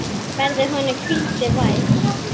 Verði honum hvíldin vær.